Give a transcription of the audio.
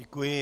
Děkuji.